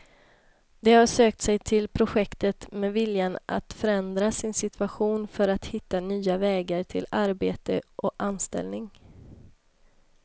De har sökt sig till projektet med viljan att förändra sin situation för att hitta nya vägar till arbete och anställning.